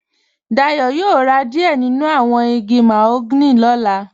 Dayọ̀ yóò rá díẹ̀ nínu awọn igi màhóganì ní ọ̀là.